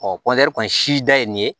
kɔni si da ye nin ye